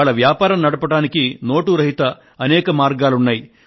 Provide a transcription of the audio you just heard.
ఇవాళ వ్యాపారం నడపడానికి నోటు రహిత అనేక మార్గాలు ఉన్నాయి